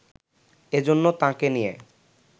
এজন্য তাঁকে নিয়ে